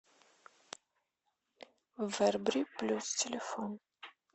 вербри плюс телефон